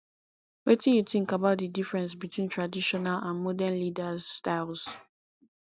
wetin you think about di difference between traditional and modern leaders styles